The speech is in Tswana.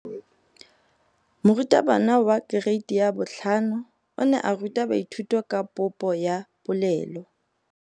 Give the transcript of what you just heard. Moratabana wa kereiti ya 5 o ne a ruta baithuti ka popô ya polelô.